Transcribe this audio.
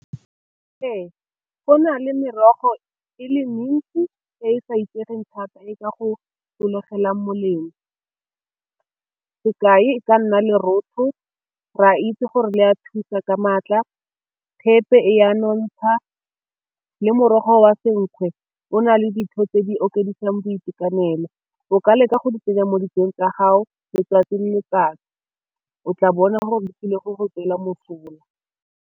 Ee, go na le merogo e le mentsi e e sa itsegeng thata e ka go sologela molemo, sekai e ka nna lerotho re a itse gore le ya thusa ka maatla, thepe e a nontsha le morogo wa senkgwe o na le tse di okeditsweng boitekanelo o ka leka go di tsenya mo dijong tsa gago letsatsi le letsatsi, o tla bona gore go go tswela mosola.